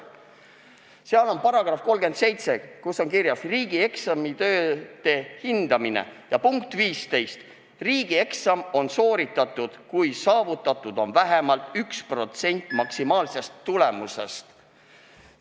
Selle dokumendi § 37 käsitleb riigieksamite hindamist ja selle sätte punkt 15 ütleb, et riigieksam on sooritatud, kui saavutatud on vähemalt 1% maksimaalsest tulemusest.